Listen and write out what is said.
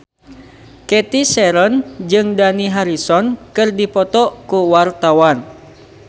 Cathy Sharon jeung Dani Harrison keur dipoto ku wartawan